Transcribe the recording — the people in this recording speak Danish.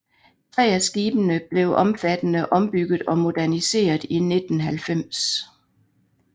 Tre af skibene blev omfattende ombygget og moderniseret i 1990